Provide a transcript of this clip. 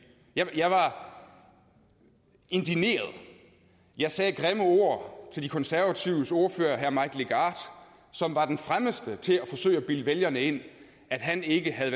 jeg var indigneret jeg sagde grimme ord til konservatives ordfører herre mike legarth som var den fremmeste til at forsøge at bilde vælgerne ind at han ikke havde